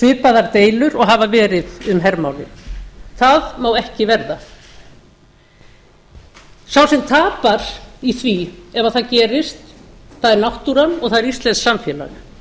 svipaðar deilur og hafa verið um hermálið það má ekki verða sá sem tapar í því ef það gerist er náttúran og það er íslenskt samfélag